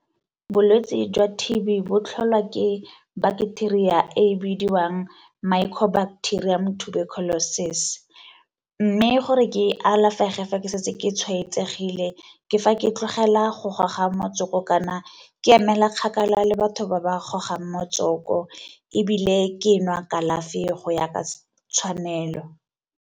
Bolwetse jwa T_B bo tlholwa ke bacteria ya e bidiwang micro-bacterium tuberculosis, mme gore ke e alafege fa ke setse ke tshwaetsegile ke fa ke tlogela go goga motsoko kana ke emela kgakala le batho ba ba gogang motsoko ebile ke nwa kalafi go ya ka tshwanelo.